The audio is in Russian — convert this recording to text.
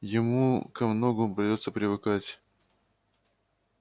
ему ко многому придётся привыкать